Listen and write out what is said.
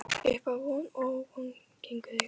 Uppá von og óvon gengu þeir